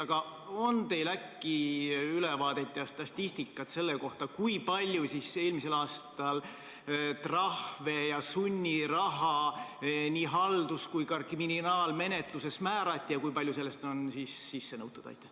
Aga on teil äkki ülevaade ja statistika selle kohta, kui palju eelmisel aastal trahve ja sunniraha nii haldus- kui ka kriminaalmenetluses määrati ja kui palju sellest on sisse nõutud?